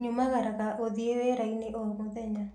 Nyumagaraga gũthĩi wĩrainĩ o mũthenya.